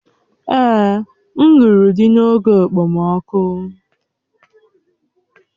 Èè, m lụrụ di n'oge okpomọkụ